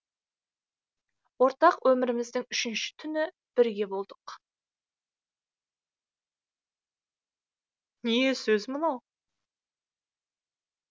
ортақ өміріміздің үшінші түні бірге болдық